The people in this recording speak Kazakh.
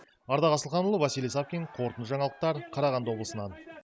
ардақ асылханұлы василий савкин қорытынды жаңалықтар қарағанды облысынан